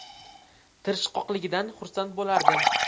Tirishqoqligidan xursand bo‘lardim.